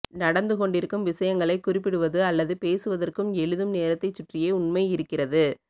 நடந்து கொண்டிருக்கும் விஷயங்களைக் குறிப்பிடுவது அல்லது பேசுவதற்கும் எழுதும் நேரத்தைச் சுற்றியே உண்மை இருக்கிறது